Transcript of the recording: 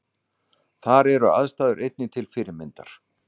Þar eru aðstæður einnig til fyrirmyndar